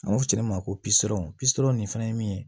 An b'a fɔ ne ma ko pisɔn nin fɛnɛ ye min ye